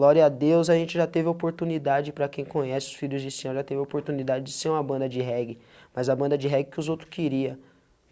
Glória a Deus, a gente já teve a oportunidade, para quem conhece os filhos de senhor, já teve a oportunidade de ser uma banda de reggae, mas a banda de reggae que os outros queria.